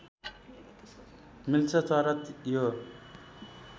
मिल्छ तर यो